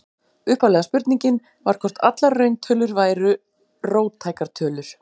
Upphaflega spurningin var hvort allar rauntölur væru róttækar tölur.